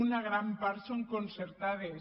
una gran part són concertades